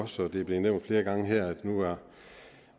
som det er blevet nævnt flere gange her har